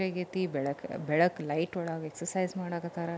ರಾತ್ರಿ ಆಗೈತೆ ಬೆಳ್ಕ ಬೆಳಕು ಲೈಟ್ ಒಳಗೆ ಎಕ್ಸರ್ಸೈಜ್ ಮಾಡಕತಾರ.